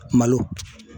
Malo